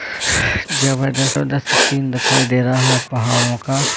जबरदस्त ओ सीन दिखाई दे रहा है पहाड़ों का।